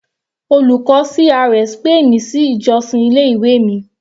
Olùkọ́ CRS pè mi sí ìjọ́sìn ilé ìwé mi.